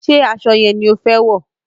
Ṣé aṣọ yẹn ni o fẹ wọ̀?